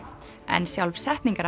en sjálf